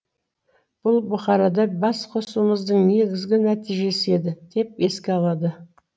бұл бұқарада бас қосуымыздың негізгі нәтижесі еді деп еске алады